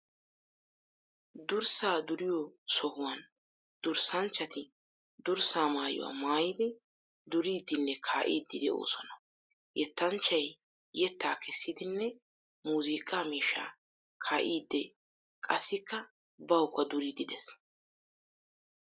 Durssa duriyo sohuwan durssanchchatti durssa maayuwa maayiddi duriiddinne kaa'iiddi de'osona. Yettanchchay yetta kessiiddinne muuziqa miishsha kaa'ide qassikka bawukka duriiddi de'ees.